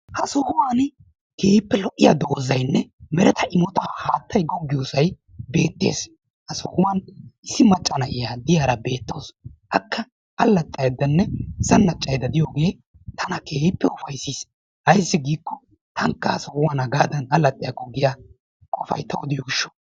Ha sohuwani keehippe lo'iya dozaynne meretta immota haattaay gogiyiyosay beetes. Ha sohuwwan issi maccaa naa'iya de'iyara betawusu. Akka allaxxaydane zannacayda de'iyoge tana keehippe ufayssis. Ayssi giko tanka ha sohuwan hagaadan allaxiyako giya qofay tawu de'iyogishawu.